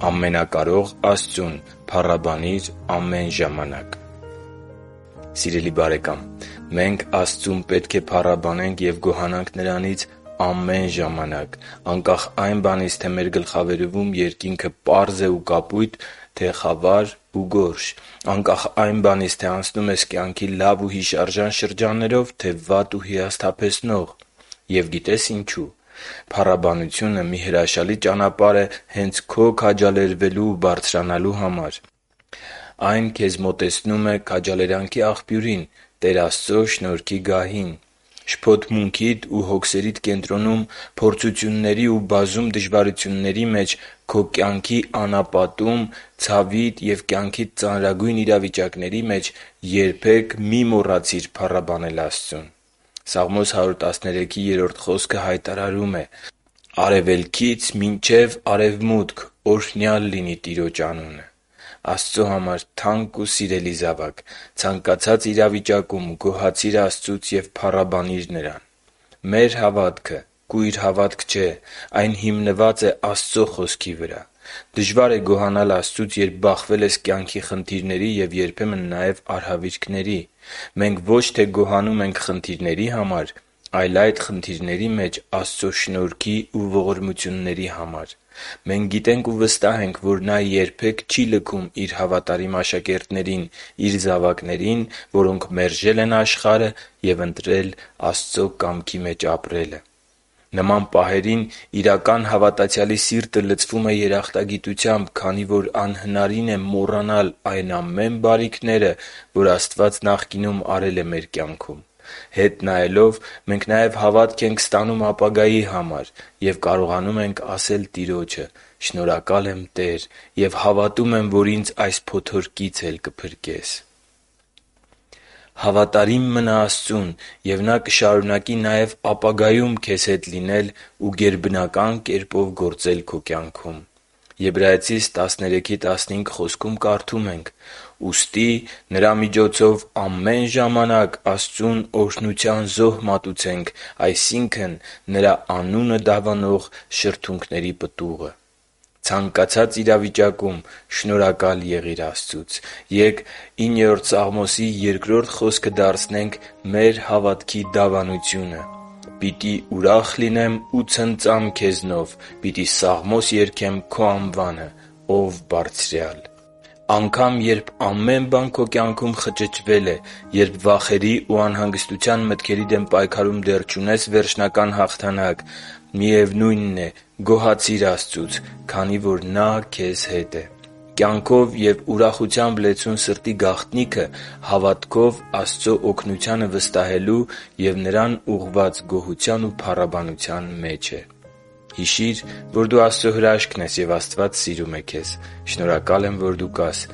Ամենակարող Աստծուն փառաբանիր ամե՛ն ժամանակ Սիրելի՛ բարեկամ, մենք Աստծուն պետք է փառաբանենք և գոհանանք Նրանից ամե՛ն ժամանակ՝ անկախ այն բանից, թե մեր գլխավերևում երկինքը պարզ է ու կապույտ, թե խավար ու գորշ…, անկախ այն բանից, թե անցնում ես կյանքի լավ ու հիշարժան շրջաններով, թե վատ ու հիասթափեցնող… Եվ գիտե՞ս, թե ինչու։ Փառաբանությունը մի հրաշալի ճանապարհ է հե՛նց քո քաջալերվելու ու բարձրանալու համար։ Այն քեզ մոտեցնում է քաջալերանքի աղբյուրին՝ Տեր Աստծո շնորհքի գահին։ Շփոթմունքիդ ու հոգսերիդ կենտրոնում, փորձությունների ու բազում դժվարությունների մեջ, քո կյանքի անապատում, ցավիդ և կյանքիդ ծանրագույն իրավիճակների մեջ երբեք մի՛ մոռացիր փառաբանել Աստծո՛ւն։ Սաղմոս 113.3 խոսքը հայտարարում է. «Արևելքից մինչև արևմուտք օրհնյա՜լ լինի Տիրոջ անունը»։ Աստծո համար թանկ ու սիրելի՛ զավակ, ցանկացած իրավիճակում գոհացի՛ր Աստծուց ու փառաբանի՛ր Նրան։ Մեր հավատքը կույր հավատք չէ։ Այն հիմնված է Աստծո Խոսքի վրա։ Դժվար է գոհանալ Աստծուց, երբ բախվել ես կյանքի խնդիրների և երբեմն նաև արհավիրքների։ Մենք ոչ թե գոհանում ենք խնդիրների համար, այլ այդ խնդիրների մեջ Աստծո շնորհքի ու ողորմությունների համար։ Մենք գիտենք ու վստահ ենք, որ Նա երբե՛ք չի լքում Իր հավատարիմ աշակերտներին՝ Իր զավակներին, որոնք մերժել են աշխարհը և ընտրել Աստծո կամքի մեջ ապրելը։ Նման պահերին իրական հավատացյալի սիրտը լցվում է երախտագիտությամբ, քանի որ անհնարին է մոռանալ այն ամեն բարիքները, որ Աստված նախկինում արել է մեր կյանքում։ Հետ նայելով՝ մենք նաև հավատք ենք ստանում ապագայի համար և կարողանում ենք ասել Տիրոջը. «Շնորհակալ եմ, Տե՛ր, և հավատում եմ, որ ինձ այս փոթորկից էլ կփրկես․․․»։ Հավատարիմ մնա Աստծուն, և Նա կշարունակի նաև ապագայում քեզ հետ լինել ու գերբնական կերպով գործել քո կյանքում։ Եբրայեցիս 13.15 խոսքում կարդում ենք. «Ուստի Նրա միջոցով ամեն ժամանակ Աստծուն օրհնության զոհ մատուցենք, այսինքն՝ Նրա անունը դավանող շրթունքների պտուղը» (Եբրայեցիս 13.15): Ցանկացած իրավիճակում շնորհակա՛լ եղիր Աստծուց։ Ե՛կ Սաղմոս 9.2 խոսքը դարձնենք մեր հավատքի դավանությունը. «Պիտի ուրախ լինեմ ու ցնծամ Քեզնով, պիտի սաղմոս երգեմ Քո անվանը, ո՛վ Բարձրյալ» (Սաղմոս 9.2): Անգամ երբ ամեն բան քո կյանքում խճճվել է, երբ վախերի ու անհանգստության մտքերի դեմ պայքարում դեռ չունես վերջնական հաղթանակ, գոհացի՛ր Աստծուց, քանի որ Նա քեզ հետ է։ Կյանքով և ուրախությամբ լեցուն սրտի գաղտնիքը հավատքով Աստծո օգնությանը վստահելու և Նրան ուղղված գոհության ու փառաբանության մեջ է։ Հիշի՛ր, որ դու Աստծո հրաշքն ես, և Աստված սիրում է քեզ։ Շնորհակալ եմ, որ դու կա՛ս